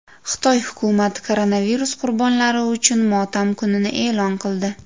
Xitoy hukumati koronavirus qurbonlari uchun motam kunini e’lon qildi.